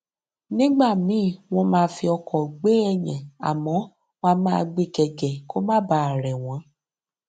nígbà míì wọn máa fi ọkọ gbé èèyàn àmọ wọn máa gbé gègé kó má baà rè wọn